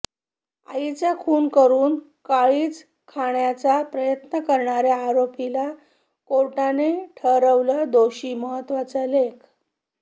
आईचा खून करून काळीज खाण्याचा प्रयत्न करणाऱ्या आरोपीला कोर्टाने ठरवलं दोषी महत्तवाचा लेख